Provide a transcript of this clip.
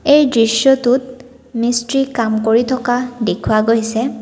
এই দৃশ্যটোত মিস্ত্ৰী কাম কৰি থকা দেখুওৱা গৈছে।